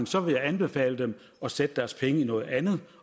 så vil jeg anbefale dem at sætte deres penge i noget andet